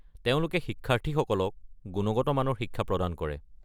তেওঁলোকে শিক্ষাৰ্থীসকলক গুণগত মানৰ শিক্ষা প্ৰদান কৰে।